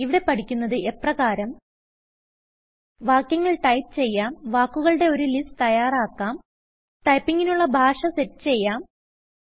ഇവിടെ പഠിക്കുന്നത് എപ്രകാരം160 വാക്യങ്ങൾ ടൈപ്പ് ചെയ്യാം വാക്കുകളുടെ ഒരു ലിസ്റ്റ് തയ്യാറാക്കാം ടൈപ്പിംഗിനുള്ള ഭാഷ സെറ്റ് ചെയ്യാം